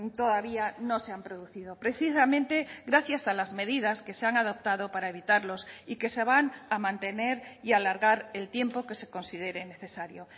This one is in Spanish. todavía no se han producido precisamente gracias a las medidas que se han adoptado para evitarlos y que se van a mantener y alargar el tiempo que se considere necesario